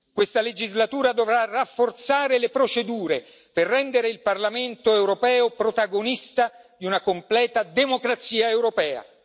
Questa legislatura dovrà rafforzare le procedure per rendere il Parlamento europeo protagonista di una completa democrazia europea.